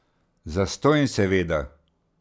Zastonj seveda.